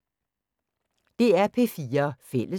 DR P4 Fælles